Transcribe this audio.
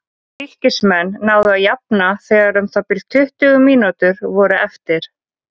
Fylkismenn náðu að jafna þegar um það bil tuttugu mínútur voru eftir.